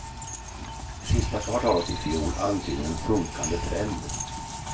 Sista kvartalet i fjol antyder en sjunkande trend.